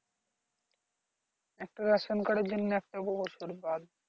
একটা ration card এর জন্য একটা বছর বাদ